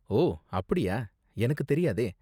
ஓ, அப்படியா? எனக்கு தெரியாதே!